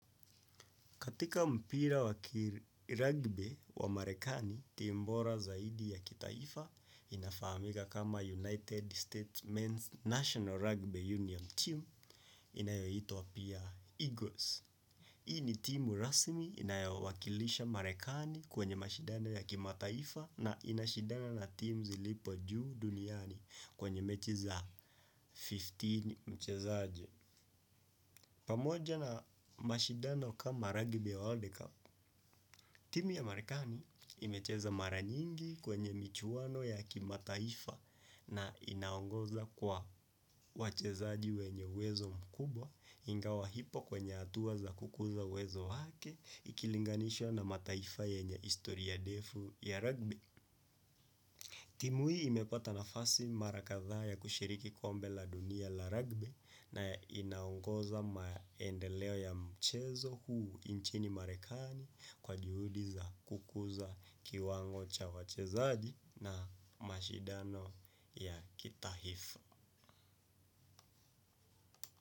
Katika mpira wa kirugby wa marekani, timu bora zaidi ya kitaifa inafahamika kama United States Men's National Rugby Union Team inayoitwa pia Eagles. Hii ni timu rasmi inayowakilisha marekani kwenye mashindano ya kimataifa na inashidana na teams zilipo juu duniani kwenye mechi za kumi na tano mchezaji. Pamoja na mashidano kama rugby ya World Cup, timu ya Marikani imecheza mara nyingi kwenye michuano ya kimataifa na inaongoza kwa wachezaji wenye uwezo mkubwa ingawa hipo kwenye hatua za kukuza uwezo wake ikilinganishwa na mataifa yenye historia ndefu ya rugby. Timu hii imepata nafasi mara kadhaa ya kushiriki kombe la dunia la rugby na inaongoza maendeleo ya mchezo huu nchini marekani kwa juhudi za kukuza kiwango cha wachezaji na mashidano ya kitaifa.